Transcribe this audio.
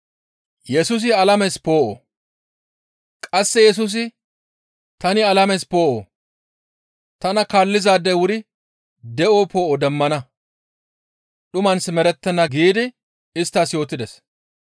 Qasse Yesusi, «Tani alames poo7o. Tana kaallizaadey wuri de7o poo7o demmana. Dhuman simerettenna» giidi isttas yootides.